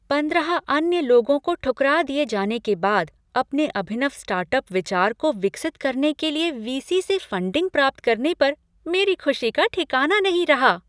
पंद्रह अन्य लोगों को ठुकरा दिए जाने के बाद अपने अभिनव स्टार्टअप विचार को विकसित करने के लिए वीसी से फंडिंग प्राप्त करने पर मेरी खुशी का ठिकाना नहीं रहा।